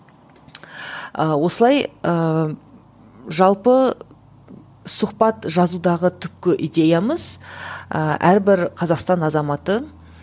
ы осылай ыыы жалпы сұхбат жазудағы түпкі идеямыз ыыы әрбір қазақстан азаматын